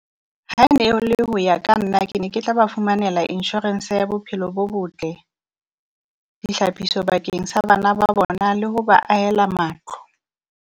Ha ne le ho ya ka nna ke ne ke tla ba fumanela insurance ya bophelo bo botle, ditlhapiso bakeng sa bana ba bona le ho ba ahela matlo.